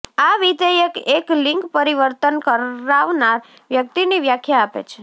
આ વિધેયક એક લિંગ પરિવર્તન કરાવનાર વ્યક્તિની વ્યાખ્યા આપે છે